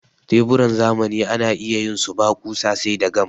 tebura irin na zamani ana iya yin su ba ƙusa sai dai gam